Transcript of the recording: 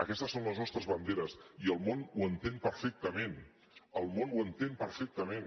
aquestes són les nostres banderes i el món ho entén perfectament el món ho entén perfectament